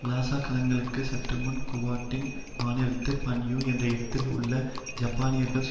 Lhasa கலகங்களுக்கு சற்று முன்பு குவாங்டிங் மாநிலத்தில் பன்யூ என்ற இடத்தில் உள்ள ஜப்பானியர்களுக்கு